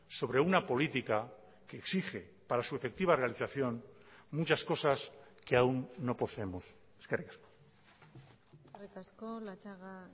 sobre una política que exige para su efectiva realización muchas cosas que aun no poseemos eskerrik asko eskerrik asko latxaga